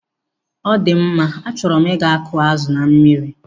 Ọdịmma, achọrọ m ịga kụọ azụ na mmiri.